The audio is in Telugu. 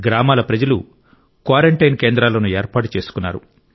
గ్రామాల ప్రజలు క్వారంటైన్ కేంద్రాలను ఏర్పాటు చేసుకున్నారు